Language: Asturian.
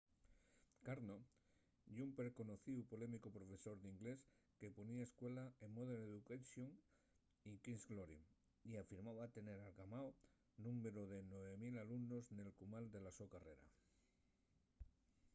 karno ye un perconocíu y polémicu profesor d’inglés que ponía escuela en modern education y king’s glory y afirmaba tener algamao’l númberu de 9.000 alumnos nel cumal de la so carrera